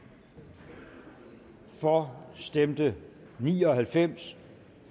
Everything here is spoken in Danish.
for stemte ni og halvfems